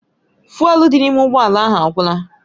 Fụ́élú dị n'ime ụgbọ ala ahụ agwụla